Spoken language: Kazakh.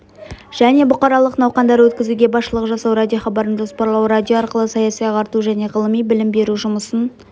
және бұқаралық науқандар өткізуге басшылық жасау радиохабарын жоспарлау радио арқылы саяси-ағарту және ғылыми-білім беру жұмысын